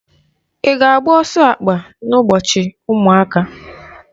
I ga agba ọsọ akpa na ụbọchị ụmụaka?